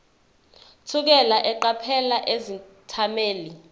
thukela eqaphela izethameli